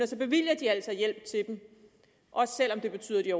altså hjælp til dem også selv om det betyder at